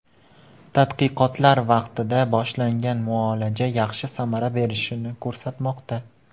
Tadqiqotlar vaqtida boshlangan muolaja yaxshi samara berishini ko‘rsatmoqda.